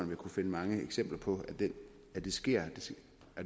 vil kunne finde mange eksempler på at det sker